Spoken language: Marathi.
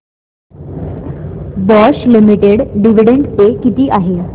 बॉश लिमिटेड डिविडंड पे किती आहे